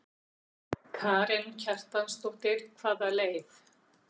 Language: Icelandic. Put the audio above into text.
Karen Kjartansdóttir: Hvaða leið?